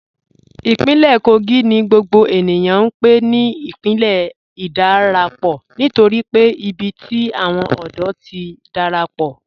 Ìpínlẹ̀ Kógì ni gbogbo ènìyàn n pè ní ìpínlẹ̀ ìdárápọ́ nítorí pé ìbí tí awọn òdò ti dárápọ́ pọ.